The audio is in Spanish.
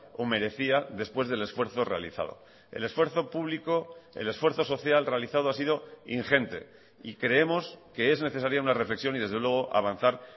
o merecía después del esfuerzo realizado el esfuerzo público el esfuerzo social realizado ha sido ingente y creemos que es necesaria una reflexión y desde luego avanzar